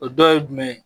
O dɔ ye jumɛn ye